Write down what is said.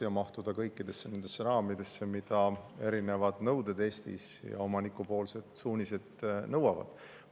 Tuleb mahtuda kõikidesse nendesse raamidesse, mida erinevad nõuded Eestis ja omanikupoolsed suunised nõuavad.